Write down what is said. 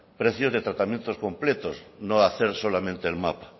precios de tratamientos completos no hacer solamente el mapa